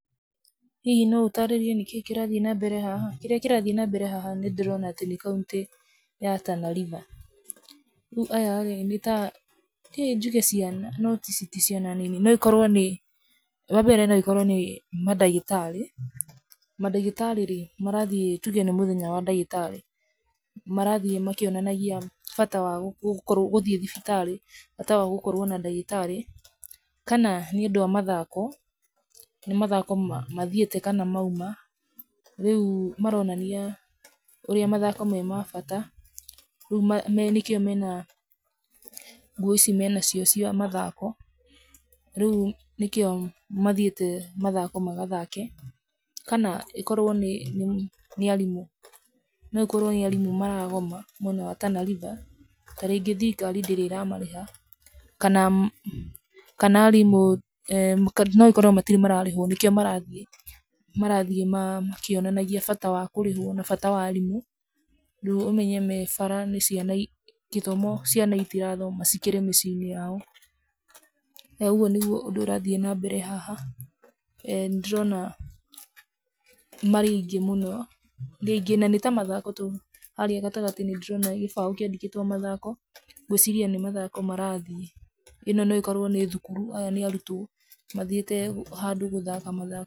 Hihi no ũtaarĩrie nĩkĩĩ kĩrathiĩ na mbere haha? kĩrĩa kĩrathiĩ nambere haha nĩndĩrona atĩ nĩ county ya Tana River, rĩu aya rĩ, nĩta, hihi njuge nĩ ciana noti ici ti ciana, no ikoro nĩ, wambere noĩkorwo nĩ mandagĩtarĩ, mandagĩtarĩ rĩ, marathiĩ tuge nĩ mũthenya wa ndagĩtarĩ, marathiĩ makĩonanagia bata wa gũko gũthiĩ thibitarĩ bata wa gũkorwo na ndagĩtarĩ, kana, nĩ andũ a mathako, nĩ mathako mathiĩte kana mauma, rĩu maronania ũrĩa mathako me ma bata rĩu, nĩkĩo mena nguo ici menacio cia mathako, rĩu nĩkĩo, mathiĩte mathako magathake, kana, ĩkorwo nĩ nĩ nĩarimũ, nokorwo nĩa rimũ maragoma mwena wa Tana River, tarĩngĩ thirikari ndĩrĩ ĩramarĩha, kana, kana arimu, kana noĩkorwo matirĩ mararĩhwo nĩkĩo marathiĩ, marathiĩ ma, makĩonanagia bata wa kũrĩhwo, kana bata wa arimũ, rĩu ũmenye me bara, nĩ ciana i, gĩthomo ciana itirathoma cikĩrĩ mĩciĩ-inĩ yao, noguo nĩguo ũndú ũrĩa ũrathiĩ nambere haha, nĩndĩrona marĩ aingĩ mũno, nĩ aingĩ nanĩta mathako to harĩa gatagatĩ ndĩrona gĩbaũ kĩandĩkĩtwo mathako, ngwĩciria nĩ mathako marathiĩ, ino noĩkorwo nĩ thukuru, aya nĩ arutwo mathiĩte handũ gũthaka mathako.